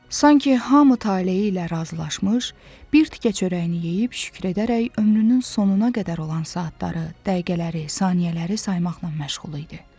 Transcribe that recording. Sanki hamı taleyi ilə razılaşmış, bir tikə çörəyini yeyib şükür edərək ömrünün sonuna qədər olan saatları, dəqiqələri, saniyələri saymaqla məşğul idi.